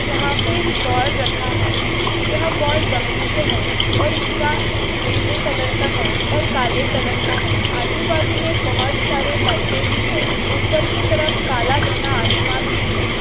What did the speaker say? यहा पे एक बॉल रखा है यह बॉल जमीन पे है और इसका पीले कलर का है और काले कलर का है अजू बाजू मे बहुत सारे लाइटे भी है उपर की तरफ काला घना आसमान भी है।